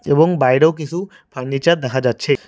এবং বাইরেও কিসু ফার্নিচার দেখা যাচ্ছে।